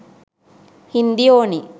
හින්දි ඕනේ